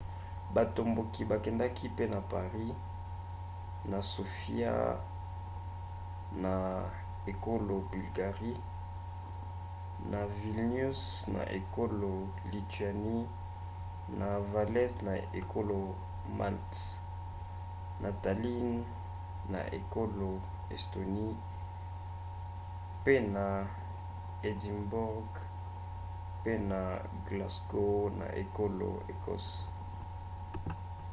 batomboki bakendaki pe na paris na sofia na ekolo bulgarie na vilnius na ekolo lituanie na valette na ekolo malte na tallinn na ekolo estonie pe na édimbourg pe na glasgow na ekolo écosse